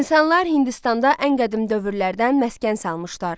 İnsanlar Hindistanda ən qədim dövrlərdən məskən salmışdılar.